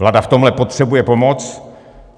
Vláda v tomhle potřebuje pomoc.